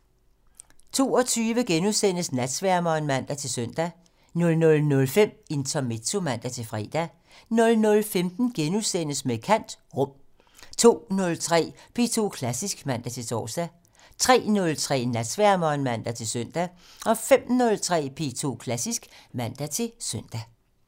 22:00: Natsværmeren *(man-søn) 00:05: Intermezzo (man-fre) 00:15: Med kant - Rum * 02:03: P2 Klassisk (man-tor) 03:03: Natsværmeren (man-søn) 05:03: P2 Klassisk (man-søn)